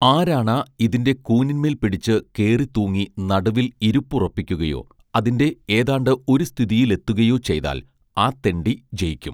ആരാണാ ഇതിന്റെ കൂനിന്മേൽ പിടിച്ച് കേറി തൂങ്ങി നടുവിൽ ഇരുപ്പുറപ്പിയ്കുകയോ അതിന്റെ ഏതാണ്ട് ഒരു സ്ഥിതിയിൽ എത്തുകയോ ചെയ്യ്താൽ ആ തെണ്ടി ജയിക്കും